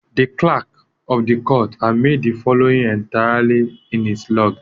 The clerk of the court had made the following entries in his log.